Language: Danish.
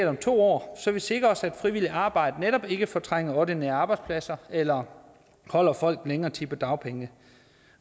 om to år så vi netop sikrer os at frivilligt arbejde ikke fortrænger ordinære arbejdspladser eller holder folk længere tid på dagpenge